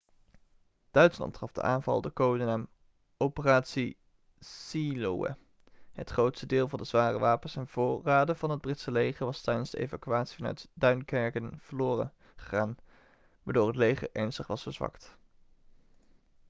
duitsland gaf de aanval de codenaam operatie seelöwe' het grootste deel van de zware wapens en voorraden van het britse leger was tijdens de evacuatie vanuit duinkerken verloren gegaan waardoor het leger ernstig was verzwakt